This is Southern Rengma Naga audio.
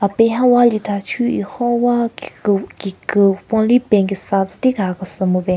Apeng ha walithachu ekhon wa peng kesa tsüti kaha kese mupen.